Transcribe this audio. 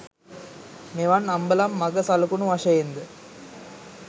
මෙවන් අම්බලම් මග සලකුණු වශයෙන්ද